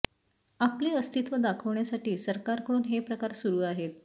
आपले अस्तित्व दाखवण्यासाठी सरकारकडून हे प्रकार सुरू आहेत